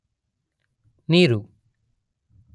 ನೀರು